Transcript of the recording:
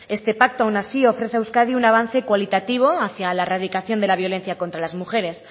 este pacto aun así ofrece a euskadi un avance cualitativo hacia la erradicación de la violencia contra las mujeres